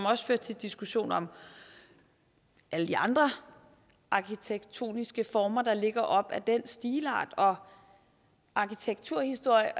også til diskussioner om alle de andre arkitektoniske former der ligger op ad den stilart og arkitekturhistorie